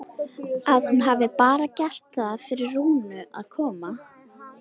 Að hún hafi bara gert það fyrir Rúnu að koma.